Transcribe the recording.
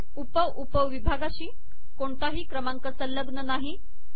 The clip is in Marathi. उप उप विभागाशी कोणताही क्रमांक संलग्न नाही